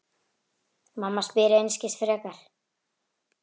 Mamma spyr einskis frekar.